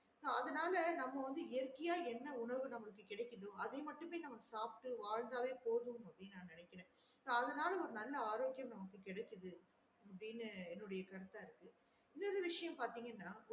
அதுனால நம்ம வந்து இயற்கையா என்ன உணவு நமக்கு கிடைக்குதோ அத மட்டுமே நம்ம சாப்ட்டு வாழ்ந்தவே போதும் அப்டின்னு நான் நெனக்குறே so அதுனால ஒரு நல்ல ஆரோக்கியம் நமக்கு கிடைக்குடு அப்டின்னு என்னோட கருத்தா இருக்கு இன்னொரு விஷயம் பாத்தேங்கன்னா